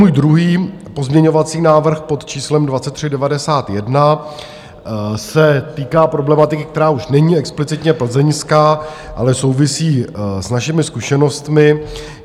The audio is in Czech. Můj druhý pozměňovací návrh pod číslem 2391 se týká problematiky, která už není explicitně plzeňská, ale souvisí s našimi zkušenostmi.